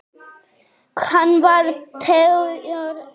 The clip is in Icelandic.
Hann var tveggja ára.